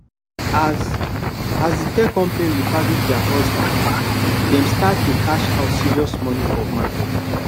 as as the tech company repackage their hustle dem start to cash out serious money for market